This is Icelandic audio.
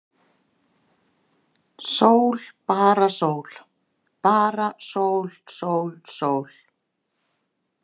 Bara sól, sól, sól.